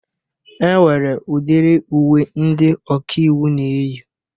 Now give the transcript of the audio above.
E nwere udiri uwe ndị ọkaiwu na-eyi.